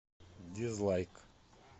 дизлайк